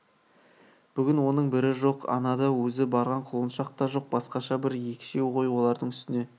бүгін оның бірі жоқ анада өзі барған құлыншақ та жоқ басқаша бір екшеу ғой олардың үстіне